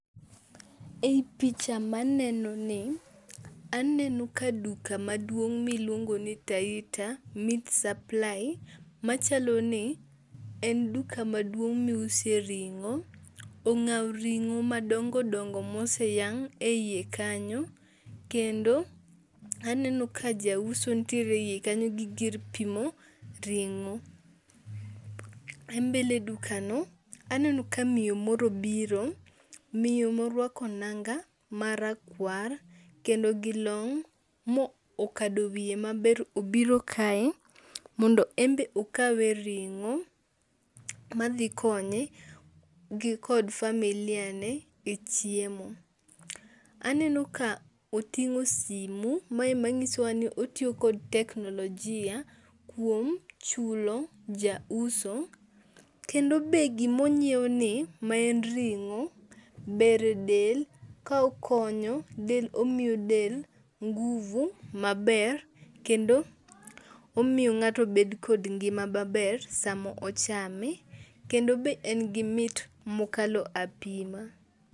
Ei picha maneno ni, aneno ka duka maduong' miluongo ni Taita Meat Supply. Machalo ni en duka maduong' miuse ring'o. Ong'ao ring'o madongo dongo mose yang' e iye kanyo. Kendo aneno ka jauso nitiere e iye kanyo gi gir pimo ring'o. E mbele duka no aneno ka miyo moro biro. Miyo moruako nanga marakuar kendo gi long' mokado wiye maber obiro kae mondo en be okawe ring'o madhi konye gi kod familia ne e chiemo. Aneno ka oting'o simu mae manyiso wa ni otiyo kod teknolojia kuom chulo jauso, kendo be gima ong'ieo ni ma en ring'o ber e del. Ka okonyo del omiyo del nguvu maber kendo omiyo ng'ato bed kod ngima maber sama ochame. Kendo be en gi mit mokalo apima.